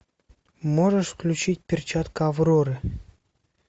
можешь включить перчатка авроры